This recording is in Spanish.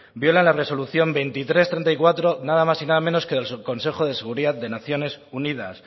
viola la resolución dos mil trescientos treinta y cuatro nada más y nada menos que del subconsejo de seguridad de naciones unidas